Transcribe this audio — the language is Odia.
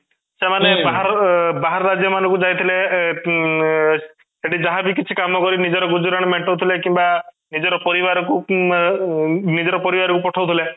ସେମାନେ ବାହାର ଅଂ ବାହାର ରାଜ୍ୟ ମାନଙ୍କୁ ଯାଇଥିଲେ ଏଁ ଉଁ ସେଇଠି ଯାହା ବି କିଛି କାମ କରି ନିଜର ଗୁଜୁରାଣ ମେଣ୍ଟଉଥିଲେ କିମ୍ବା ନିଜର ପରିବାର କୁ ଉମ ବ ନିଜର ପରିବାର କୁ ପଠାଉଥିଲେ